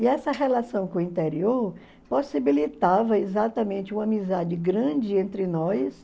E essa relação com o interior possibilitava exatamente uma amizade grande entre nós.